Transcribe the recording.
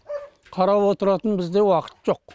қарап отыратын бізде уақыт жоқ